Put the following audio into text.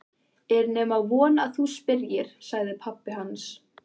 Er nema von að þú spyrjir, sagði pabbi hans.